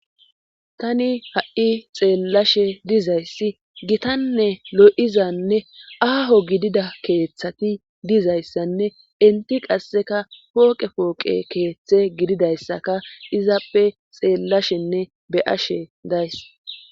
tani ha7i xeellashe dizayssi gitanne lo7izanne aaho gidida keeththati dizayssanne inti qasseka pooqe pooqe keeththe gididayssaka izappe xeellashenne be ashe days